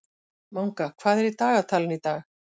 Manga, hvað er í dagatalinu í dag?